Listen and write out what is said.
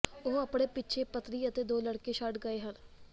ਉਹ ਆਪਣੇ ਪਿੱਛੇ ਪਤਨੀ ਅਤੇ ਦੋ ਲੜਕੇ ਛੱਡ ਗਏ ਹਨ